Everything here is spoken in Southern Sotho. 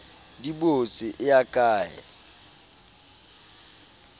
di botse e ya kae